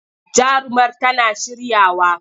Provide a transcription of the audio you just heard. Jarumar tana shiryawa.